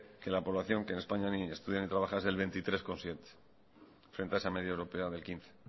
que la población que en españa ni estudia ni trabaja es del veintitrés coma siete por ciento frente a esa media europea del quince